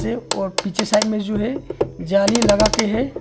पिछे साइड में जो है जॉली लगा के है।